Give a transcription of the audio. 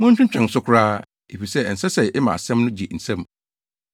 Monntwentwɛn so koraa, efisɛ ɛnsɛ sɛ yɛma asɛm no gye nsam.